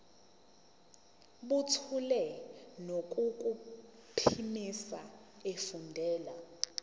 buthule nangokuphimisa efundela